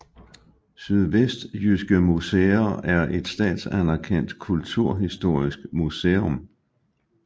Sydvestjyske Museer er et statsanerkendt kulturhistorisk museum